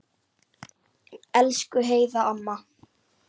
Elsku Heiða amma.